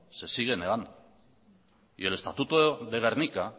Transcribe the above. se sigue negando y el estatuto de gernika